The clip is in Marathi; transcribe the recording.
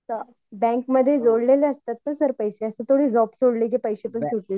सर बँकमध्ये जोडलेले असतात ना सर पैसे असं थोडी जॉब सोडलं की पैसे पण सुटले.